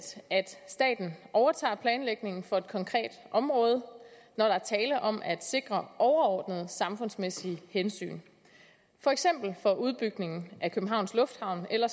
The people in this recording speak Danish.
at staten overtager planlægningen for et konkret område når der er tale om at sikre overordnede samfundsmæssige hensyn for eksempel for udbygningen af københavns lufthavn eller